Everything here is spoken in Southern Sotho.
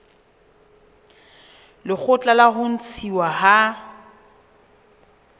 lekgotla la ho ntshuwa ha